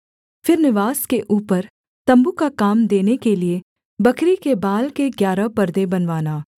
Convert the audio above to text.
फिर निवास के ऊपर तम्बू का काम देने के लिये बकरी के बाल के ग्यारह परदे बनवाना